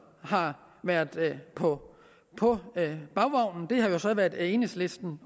har været på på bagvognen har jo så været enhedslisten